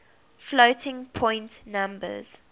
floating point numbers